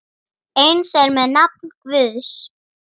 Eins er með nafn Guðs.